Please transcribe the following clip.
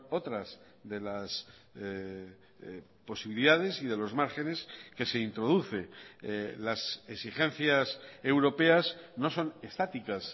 otras de las posibilidades y de los márgenes que se introduce las exigencias europeas no son estáticas